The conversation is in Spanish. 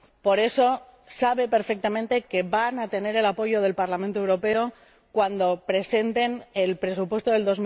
Por eso saben perfectamente que van a tener el apoyo del Parlamento Europeo cuando presenten el presupuesto de